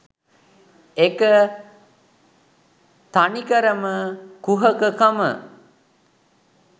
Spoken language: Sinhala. ඒක තනිකරම කුහක කම